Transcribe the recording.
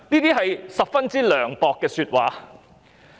這是十分涼薄的說話。